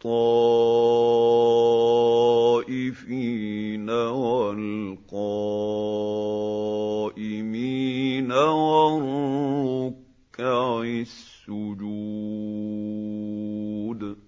لِلطَّائِفِينَ وَالْقَائِمِينَ وَالرُّكَّعِ السُّجُودِ